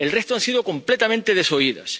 El resto han sido completamente desoídas.